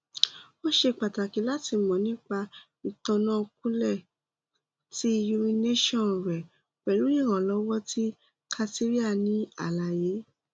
o ṣe pataki lati mọ nipa itanakọọlẹ ti urination rẹ pẹlu iranlọwọ ti catheter ni alaye